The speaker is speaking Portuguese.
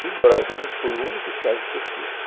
Rigorosamente, foi o único estágio que eu fiz.